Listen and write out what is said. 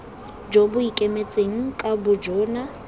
jo bo ikemetseng ka bojona